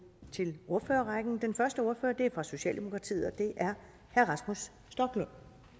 til ordførerrækken den første ordfører er fra socialdemokratiet og det er herre rasmus stoklund